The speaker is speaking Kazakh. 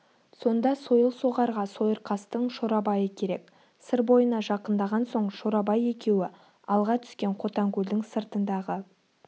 сонда сойыл соғарға сойырқастың шорабайы керек сыр бойына жақындаған соң шорабай екеуі алға түскен қотанкөлдің сыртындағы